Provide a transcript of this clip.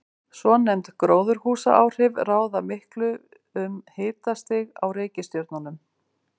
Svonefnd gróðurhúsaáhrif ráða miklu um hitastig á reikistjörnunum.